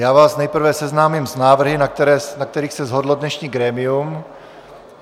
Já vás nejprve seznámím s návrhy, na kterých se shodlo dnešní grémium.